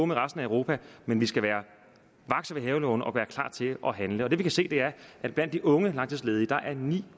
med resten af europa men vi skal være vakse ved havelågen og være klar til at handle det vi kan se er at blandt de unge langtidsledige er ni